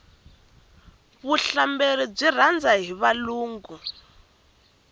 vuhlamberi byi rhandza hi valungu